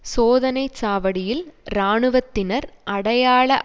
சோதனை சாவடியில் இராணுவத்தினர் அடையாள